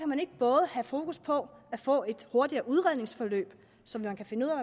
man ikke både have fokus på at få et hurtigere udredningsforløb så man kan finde ud